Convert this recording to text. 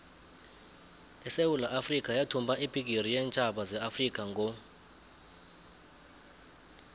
isewula afrikha yathumba ibhigiri yeentjhaba zeafrikha ngo